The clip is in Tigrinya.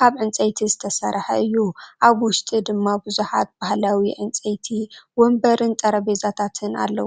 ካብ ዕንጨይቲ ዝተሰርሐ እዩ። ኣብ ውሽጢ ድማ ብዙሓት ባህላዊ ዕንጨይቲ መንበርን ጠረጴዛታትን ኣለዉ።